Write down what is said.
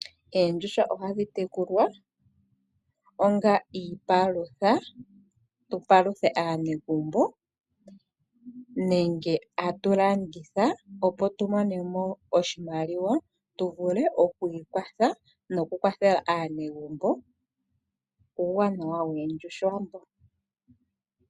Oondjuhwa ohadhi tekulwa onga iipalutha tupalutha aanegumbo nenge atulanditha opo tumonemo oshimaliwa tuvule okwiikwatha nokukwathela aanegumbo, uuwanawa woondjuhwa mbo.